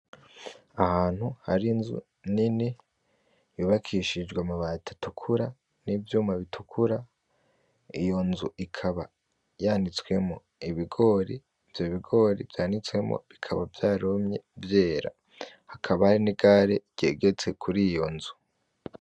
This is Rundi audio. Ahantu har'inzu nini yubakishijwe amabati atukura n'ivyuma bitukura, iyo nzu ikaba yanitswemwo ibigori, ivyo bigori vyanitswemwo bikaba vyarumye; vyera, hakaba hari n'igare ryegetse kuriyo nzu.